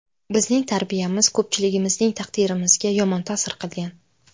Bizning tarbiyamiz ko‘pchiligimizning taqdirimizga yomon ta’sir qilgan.